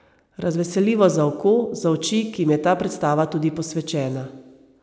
Razveseljivo za oko, za oči, ki jim je ta predstava tudi posvečena.